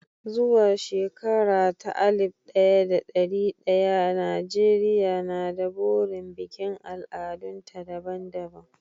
Zuwa shekara ta alif ɗaya da ɗari ɗaya, Najeriya na da burin bikin al'adunta daban-daban.